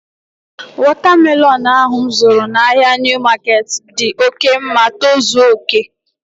Wọta melọnu ahu mụ zụtara n'ahia Niu maketi dị oké ma tozuo oké